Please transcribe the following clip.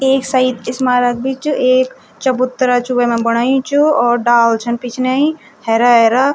एक सईद स्मारक भी च एक चबूतरा च वैमा बणयी च और डाल छन पिछनै हैरा हैरा।